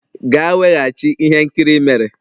Gaa weghachi ihe nkiri i mere!